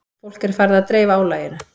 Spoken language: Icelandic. Fólk er farið að dreifa álaginu